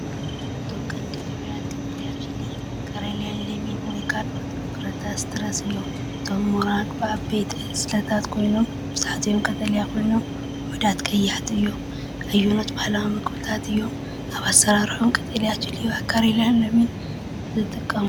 እቶም ቀንዲ ፍርያት ቀጠልያ ቺሊ (ካርያ)ን ለሚንን (ወይ ካልኦት ፍረታት ሲትረስ) እዮም። እቶም ምራቕ ብዓበይቲ ዕስለታት ኮይኖም፡ መብዛሕትኦም ቀጠልያ ኮይኖም፡ ውሑዳት ቀያሕቲ እዮም። ኣየኖት ባህላዊ መግብታት እዮም ኣብ ኣሰራርሓኦም ቀጠልያ ቺሊ (ካርያ)ን ለሚንን ዝጥቀሙ?